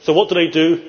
So what do they do?